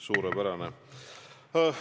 Suurepärane!